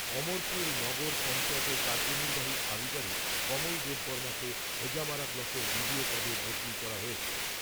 অমরপুর নগর পঞ্চায়েতের কার্যনির্বাহী আধিকারিক কমল দেববর্মাকে হেজামারা ব্লকের বিডিও পদে বদলি করা হয়েছে।